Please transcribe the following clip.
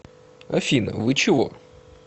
афина вы чего